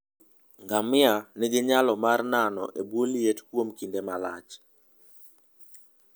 Ngamia nigi nyalo mar nano e bwo liet kuom kinde malach.